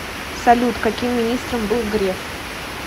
салют каким министром был греф